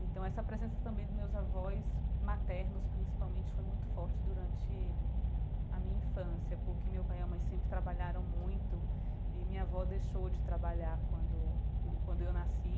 Então essa presença também dos meus avós maternos principalmente foi muito forte durante a minha infância porque meu pai e a mãe sempre trabalharam muito e minha avó deixou de trabalhar quando quando eu nasci.